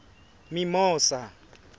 mimosa